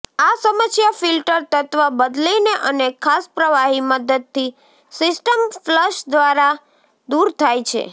આ સમસ્યા ફિલ્ટર તત્વ બદલીને અને ખાસ પ્રવાહી મદદથી સિસ્ટમ ફ્લશ દ્વારા દૂર થાય છે